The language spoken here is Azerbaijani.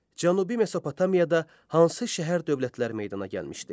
Cənubi Mesopotamiyada hansı şəhər-dövlətlər meydana gəlmişdi?